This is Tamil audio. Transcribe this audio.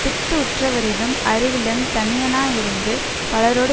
பித்து உற்றவரினும் அறிவிலன் தனியனாயிருந்து பலரோடு